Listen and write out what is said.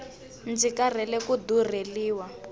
ndzi karhele ku durheliwa